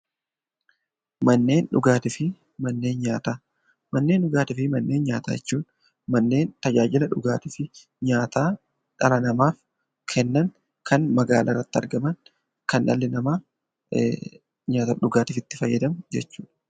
Manneen dhugaatii fi manneen nyaataa Manneen dhugaatii fi manneen nyaataa jechuun manneen tajaajila dhugaatii fi nyaataa dhala namaaf kennan kanneen magaalaa irratti argaman, kan dhalli namaa nyaataa fi dhugaatiif itti fayyadamu jechuudha.